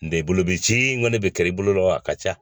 N'o tɛ i bolo bɛ ci ŋɔni ne bɛ kɛr'i bolo la, a ka ca.